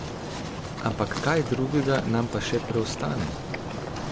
Ampak kaj drugega nam pa še preostane?